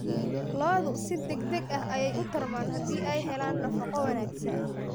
Lo'du si degdeg ah ayay u tarmaan haddii ay helaan nafaqo wanaagsan.